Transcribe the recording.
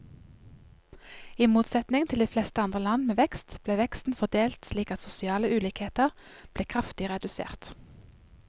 I motsetning til de fleste andre land med vekst, ble veksten fordelt slik at sosiale ulikheter ble kraftig redusert.